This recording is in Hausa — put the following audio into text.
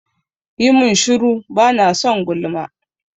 Yi mun shuru! bana son gulma.